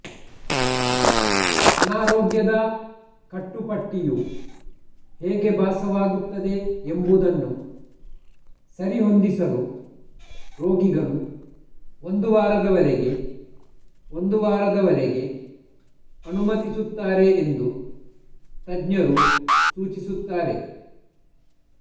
ಅನಾರೋಗ್ಯದ ಕಟ್ಟುಪಟ್ಟಿಯು ಹೇಗೆ ಭಾಸವಾಗುತ್ತದೆ ಎಂಬುದನ್ನು ಸರಿಹೊಂದಿಸಲು ರೋಗಿಗಳು ಒಂದು ವಾರದವರೆಗೆ ಒಂದು ವಾರದವರೆಗೆ ಅನುಮತಿಸುತ್ತಾರೆ ಎಂದು ತಜ್ಞರು ಸೂಚಿಸುತ್ತಾರೆ